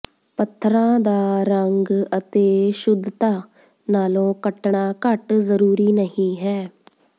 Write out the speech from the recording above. ਪੱਥਰਾਂ ਦਾ ਰੰਗ ਅਤੇ ਸ਼ੁੱਧਤਾ ਨਾਲੋਂ ਕੱਟਣਾ ਘੱਟ ਜ਼ਰੂਰੀ ਨਹੀਂ ਹੈ